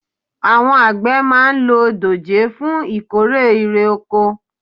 àwọn àgbẹ̀ máa ń lo dòjé fún ìkórè irè oko